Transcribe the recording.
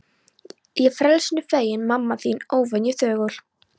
Ég frelsinu feginn, mamma þín óvenju þögul.